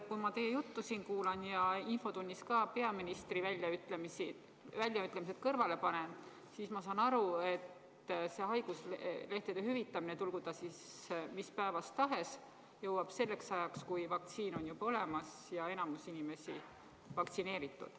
Kui ma teie juttu siin kuulan ja ka peaministri väljaütlemised infotunnis kõrvale panen, siis ma saan aru, et see haiguslehtede hüvitamine, tulgu ta siis mis päevast tahes, jõuab selleks ajaks, kui vaktsiin on juba olemas ja enamik inimesi vaktsineeritud.